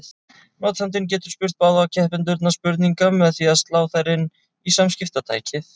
Notandinn getur spurt báða keppendurna spurninga með því að slá þær inn í samskiptatækið.